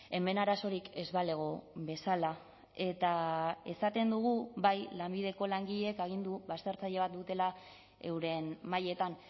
hemen arazorik ez balego bezala eta esaten dugu bai lanbideko langileek agindu baztertzaile bat dutela euren mahaietan